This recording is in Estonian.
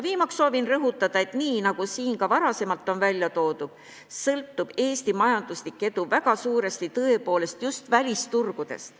Viimaks soovin rõhutada, et nii nagu siin ka varem on välja toodud, sõltub Eesti majanduslik edu väga suuresti tõepoolest just välisturgudest.